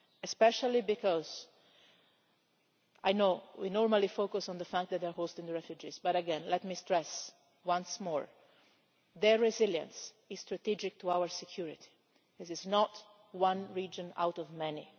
especially because I know we normally focus on the fact that they are hosting the refugees, but let me stress once more their resilience is strategic to our security. This is not one region out of many